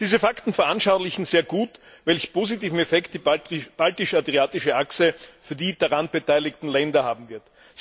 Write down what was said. Diese Fakten veranschaulichen sehr gut, welch positiven Effekt die Baltisch Adriatische Achse für die daran beteiligen Länder haben wird.